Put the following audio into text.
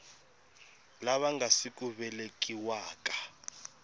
lava nga si ku velekiwaka